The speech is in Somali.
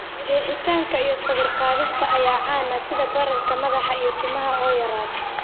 Jeexitaanka iyo sawir-qaadista ayaa caan ah, sida bararka madaxa iyo timaha oo yaraada.